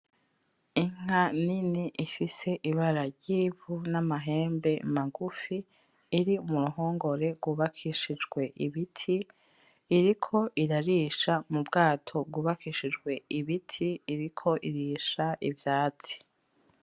Inka nini ifise ibara ryivu n'amahembe magufi iri muruhongore rwubakishijwe ibiti iriko irarisha mubwato bwubakishijwe ibiti , iriko irisha ivyatsi .